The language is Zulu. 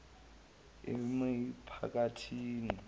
emiphakathini